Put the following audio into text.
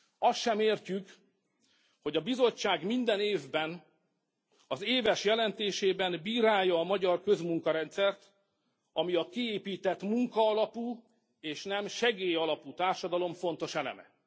Azt sem értjük, hogy a Bizottság minden évben az éves jelentésében bírálja a magyar közmunkarendszert, ami a kiépített munkaalapú és nem segélyalapú társadalom fontos eleme.